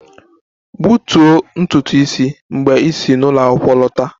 Gbutuo ntutu isi mgbe ị si n'ụlọ akwụkwọ lọta!